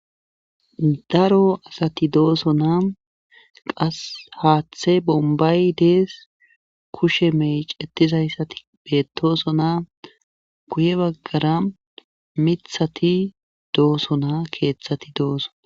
Daro asati doosona qassi haathey bombbay dees kushe meecettizayssati beettoosona guye baggara miththati doosona keeththati doosona.